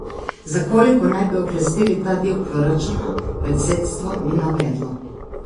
Za koliko naj bi oklestili ta del proračuna, predsedstvo ni navedlo.